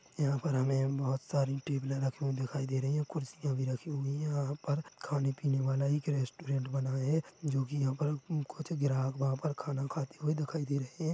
यहाँ पर हमें बोहोत सारी टेबलें ए रखी हुई दिखाई दे रही है कुर्सियाँ भी रखी हुई है यहाँ पर खाने- पीने वाला एक रेस्टोरेंट बना है जो की यहाँ पर कुछ ग्राहक वहाँ पर खाना खाते हुए दिखाई दे रहे है।